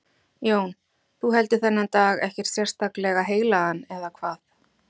Jón: Þú heldur þennan dag ekkert sérstaklega heilagan, eða hvað?